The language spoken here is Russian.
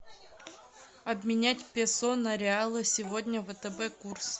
обменять песо на реалы сегодня втб курс